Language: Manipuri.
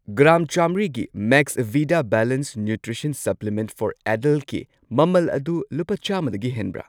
ꯒ꯭ꯔꯥꯝ ꯆꯥꯝꯃ꯭ꯔꯤꯒꯤ ꯃꯦꯛꯁꯕꯤꯗꯥ ꯕꯦꯂꯦꯟꯁ ꯅ꯭ꯌꯨꯇ꯭ꯔꯤꯁꯟ ꯁꯄ꯭ꯂꯤꯃꯦꯟꯠ ꯐꯣꯔ ꯑꯦꯗꯜꯠꯀꯤ ꯃꯃꯜ ꯑꯗꯨ ꯂꯨꯄꯥ ꯆꯥꯝꯃꯗꯒꯤ ꯍꯦꯟꯕ꯭ꯔꯥ?